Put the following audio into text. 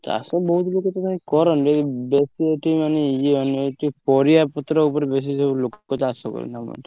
ଚାଷ ବହୁତ୍ ଲୋକ ତ କାଇଁ କରନ୍ତି ଯଦି ବେ ଶୀ ଏଠି ମାନେ ଇଏ ମାନେ ଏ ଯୋଉ ପରିବା ପତ୍ର ଉପରେ ବେଶୀ ସବୁ ଲୋକ ଚାଷ କରନ୍ତି ଆମ ଏଠି।